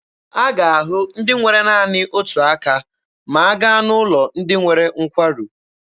A ga-ahụ ndị nwere naanị otu aka ma a gaa n'ụlọ ndị nwere nkwarụ.